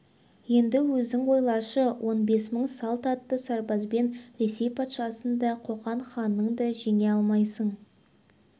енді өзің ойлашы он бес мың салт атты сарбазбен ресей патшасын да қоқан ханын да жеңе алмайсың